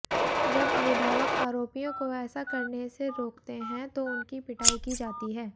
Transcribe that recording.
जब अभिभावक आरोपियों को ऐसा करने से रोकते हैं तो उनकी पिटाई की जाती है